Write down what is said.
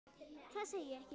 Það segi ég ekki.